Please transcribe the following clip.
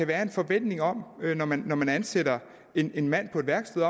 være en forventning om når man når man ansætter en en mand på et værksted